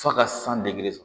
F'a ka san degeli